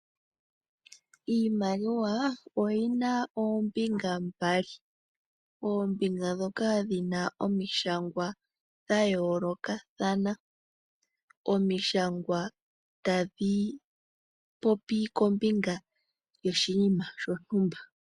Iimaliwa oti na oombinga mbali. Oombinga dhoka dhi na omishangwa dha yoolokathana. Omishangwa tadhi popi kombinga yoshinima shontumba.